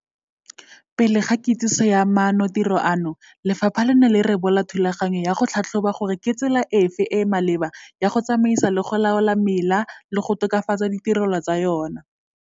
Pele ga kitsiso ya maanotiro ano, lefapha le ne la rebola thulaganyo ya go tlhatlhoba gore ke tsela efe e e maleba ya go tsamaisa le go laola mela le go tokafatsa ditirelo tsa yona.